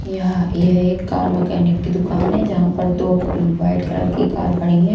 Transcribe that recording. यह यह एक कार मैकेनिक की दुकान है जहां पर दो वाइट कलर की कार खड़ी है।